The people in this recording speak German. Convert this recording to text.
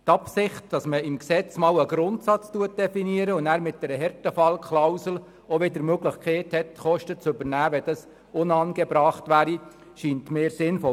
Die Absicht, im Gesetz einen Grundsatz zu definieren und dabei mit einer Härtefallklausel die Möglichkeit zu schaffen, Kosten zu übernehmen, wenn dies angebracht ist, scheint mir sinnvoll.